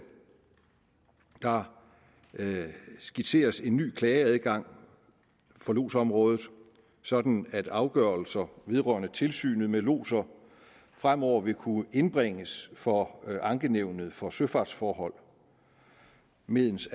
der skitseres en ny klageadgang for lodsområdet sådan at afgørelser vedrørende tilsynet med lodser fremover vil kunne indbringes for ankenævnet for søfartsforhold mens